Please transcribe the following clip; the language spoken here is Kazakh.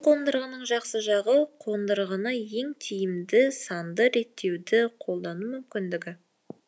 қондырғының жақсы жағы қондырғыны ең тиімді санды реттеуді қолдану мүмкіндігі